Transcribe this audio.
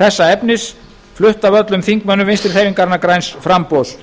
þessa efnis flutt af öllum þingmönnum vinstri hreyfingarinnar græns framboðs